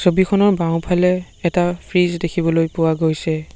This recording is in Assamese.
ছবিখনৰ বাওঁফালে এটা ফ্ৰিজ দেখিবলৈ পোৱা গৈছে।